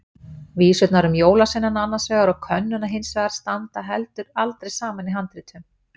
Vísurnar um jólasveinana annars vegar og könnuna hins vegar standa heldur aldrei saman í handritum.